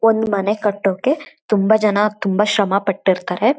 ಒಂದ್ ಮನೆ ಕಟ್ಟೋಕ್ಕೆ ತುಂಬಾ ತುಂಬಾ ಶ್ರಮ ಪಟ್ಟಿರುತ್ತಾರೆ.